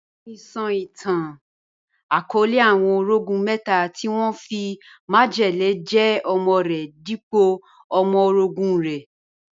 Iyà mí sọ̀ itàn ìtàn-akọọlẹ̀ àwọn orọ̀gún mẹta tí wọn fí májẹlẹ̀ jẹ̀ ọmọ̀ rẹ̀ dípọ̀ ọmọ̀ orọ̀gún rẹ̀.